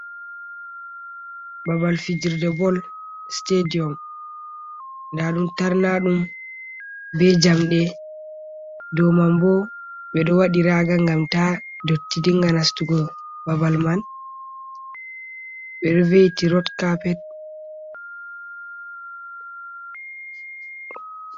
Babal fijirde bol sitediyum nda ɗum tarnaɗum be jamɗe dow man bo ɓe ɗo waɗi raga, gam ta dotti dinga nastugo babal man ɓe ɗo veiti rod carpet.